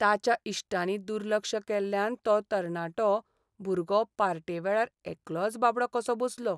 ताच्या इश्टांनी दुर्लक्ष केल्ल्यान तो तरणाटो भुरगो पार्टेवेळार एकलोच बाबडो कसो बसलो.